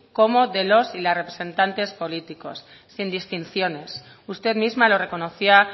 como de los y las representantes políticos sin distinciones usted misma lo reconocía